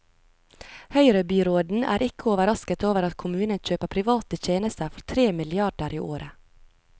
Høyrebyråden er ikke overrasket over at kommunen kjøper private tjenester for tre milliarder i året.